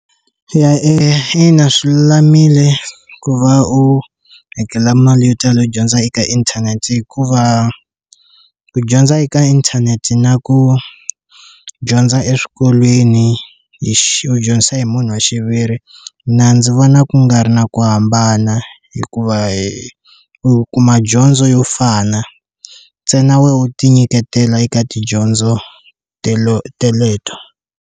Eya eya ina swi lulamile ku va u hakela mali yo tala u dyondza eka inthanete hikuva ku dyondza eka inthanete na ku dyondza eswikolweni hi ku dyondzisa hi munhu wa xiviri na ndzi vona ku nga ri na ku hambana hikuva hi u kuma dyondzo yo fana ntsena wu ti nyiketela eka tidyondzo telo teleto.